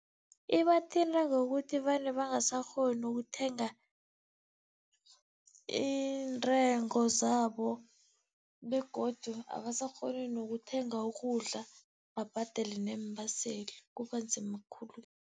Ibathinta ngokuthi vane bangasakghoni ukuthenga iintengo zabo begodu abasakghoni nokuthenga ukudla, babhadele neembaseli kuba nzima khulu.